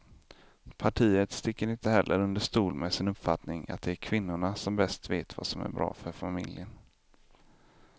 Partiet sticker inte heller under stol med sin uppfattning att det är kvinnorna som bäst vet vad som är bra för familjen.